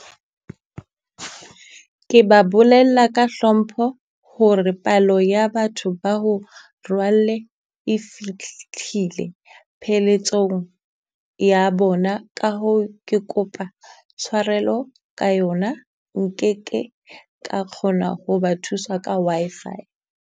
Ke ba bolella ka hlompho hore palo ya batho ba ho rwalle e pheletsong ya bona. Ka hoo ke kopa tshwarelo ka yona nkeke ka kgona ho ba thusa ka Wi-Fi.